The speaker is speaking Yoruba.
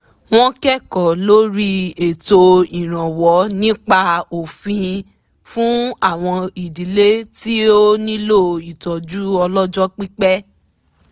wọ́n kẹ́kọ̀ọ́ lórí ètò ìrànwọ́ nípa òfin fún àwọn ìdílé tí ó nílò ìtọ́jú ọlọ́jọ́ pípẹ́